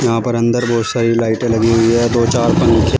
यहां पर अंदर बहुत सारी लाइटें लगी हुई है दो चार पंखे--